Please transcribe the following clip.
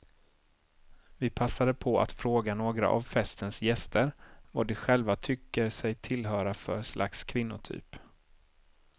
Vi passade på att fråga några av festens gäster vad de själva tycker sig tillhöra för slags kvinnotyp.